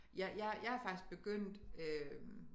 Jeg er faktisk begyndt øh